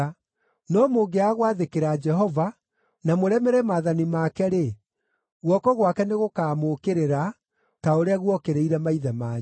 No mũngĩaga gwathĩkĩra Jehova, na mũremere maathani make-rĩ, guoko gwake nĩgũkamũũkĩrĩra ta ũrĩa guokĩrĩire maithe manyu.